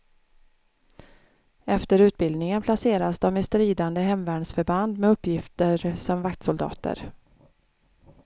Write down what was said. Efter utbildningen placeras de i stridande hemvärnsförband med uppgifter som vaktsoldater.